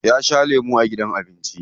Ta sha lemu a gidan abinci.